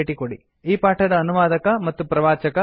ಈ ಪಾಠದ ಅನುವಾದಕ ಮತ್ತು ಪ್ರವಾಚಕ ವಾಸುದೇವ ಐಐಟಿ